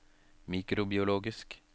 mikrobiologisk